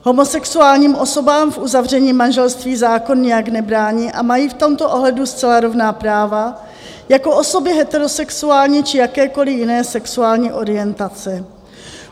Homosexuálním osobám v uzavření manželství zákon nijak nebrání a mají v tomto ohledu zcela rovná práva jako osoby heterosexuální či jakékoliv jiné sexuální orientace.